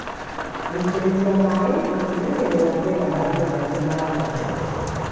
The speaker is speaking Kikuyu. Gũitĩrĩrĩa maĩ gũtigagĩrĩra kwĩna maĩ maiganu ma ngano.